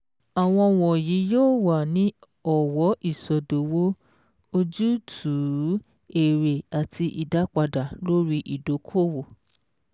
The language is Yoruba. Àwọn wọ̀nyí wọ̀nyí yóò wà ní ọ̀wọ́ ìsọdowó, ojútùú, èrè, àti ìdápadà lórí ìdókòwò.